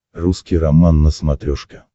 русский роман на смотрешке